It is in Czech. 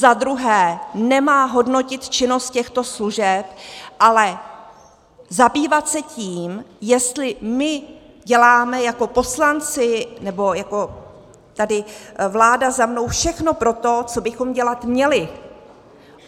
Za druhé, Nemá hodnotit činnost těchto služeb, ale zabývat se tím, jestli my děláme jako poslanci nebo jako tady vláda za mnou všechno pro to, co bychom dělat měli.